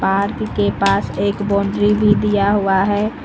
Park के पास एक बाउंड्री भी दिया हुआ है।